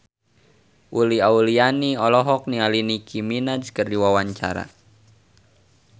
Uli Auliani olohok ningali Nicky Minaj keur diwawancara